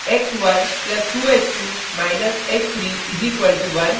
x1 + 2 x2 − x3 = 1